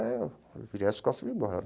Aí eu, eu virei as costas e vim embora.